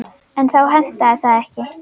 En þá hentaði það ekki.